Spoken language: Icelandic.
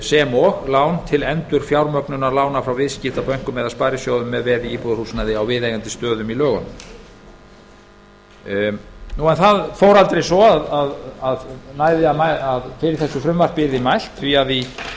sem og lán til endurfjármögnunar lána frá viðskiptabönkum eða sparisjóðum með veði í íbúðarhúsnæði á viðeigandi stöðum í lögunum en það fór aldrei svo að fyrir þessu frumvarpi yrði mælt því í